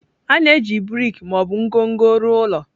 A na-eji brik ma ọ bụ ngọngọ rụọ ụlọ.